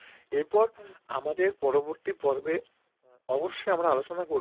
অবশ্যই আমরা আলোচনা করব